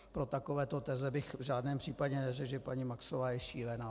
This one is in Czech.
Pro takovéto teze bych v žádném případě neřekl, že paní Maxová je šílená.